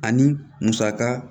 Ani musaka